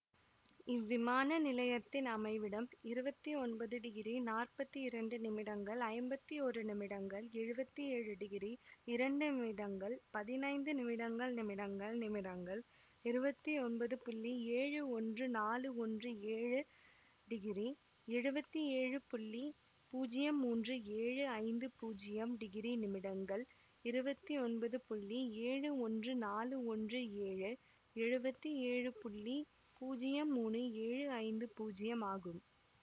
இவ்விமான நிலையத்தின் அமைவிடம் இருவத்தி ஒன்பது டிகிரி நாற்பத்தி இரண்டு நிமிடங்கள் ஐம்பத்தி ஒரு நிமிடங்கள் எழுவத்தி ஏழு டிகிரி இரண்டு நிமிடங்கள் பதினைந்து நிமிடங்கள் நிமிடங்கள் நிமிடங்கள் இருவத்தி ஒன்பது புள்ளி ஏழு ஒன்று நாலு ஒன்று ஏழு டிகிரி எழுவத்தி ஏழு புள்ளி பூஜ்யம் மூன்று ஏழு ஐந்து பூஜ்யம் டிகிரி நிமிடங்கள் இருவத்தி ஒன்பது புள்ளி ஏழு ஒன்று நாலு ஒன்று ஏழு எழுவத்தி ஏழு புள்ளி பூஜ்யம் மூனு ஏழு ஐந்து பூஜ்யம் ஆகும்